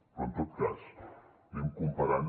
però en tot cas anem comparant